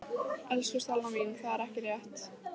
Elsku Stella mín, það er ekki rétt.